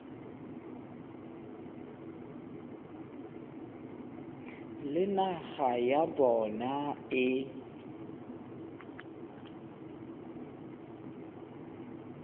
le naga ya bona e